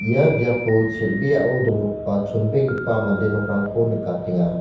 ia biapo chel·beao donggipa chongipa mande nokrangko nikatenga.